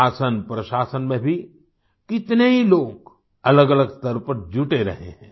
शासन प्रशासन में भी कितने ही लोग अलगअलग स्तर पर जुटे रहे हैं